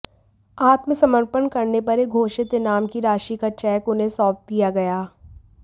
आत्मसमर्पण करने पर यह घोषित इनाम की राशि का चेक उन्हें सौंप दिया गया